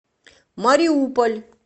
мариуполь